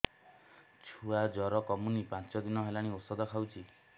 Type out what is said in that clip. ଛୁଆ ଜର କମୁନି ପାଞ୍ଚ ଦିନ ହେଲାଣି ଔଷଧ ଖାଉଛି